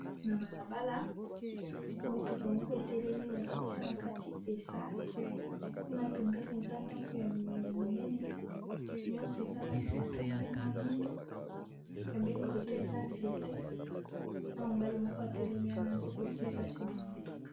Na balabala motuka moko etelemi bazotia na kati esasi kuna pembene eza ndako ya minene minene nyonso eza langia pembe na mwindo pembeni koto eza nzete na mobali moko etelemi wana azokotsa esasi na motuka.